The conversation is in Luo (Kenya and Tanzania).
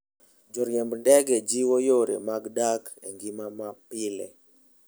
Joriemb ndege jiwo yore mag dak e ngima mapile.